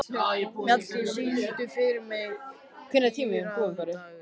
Mjalldís, syngdu fyrir mig „Dýrðardagur“.